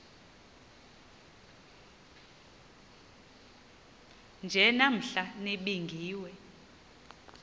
nje namhla nibingiwe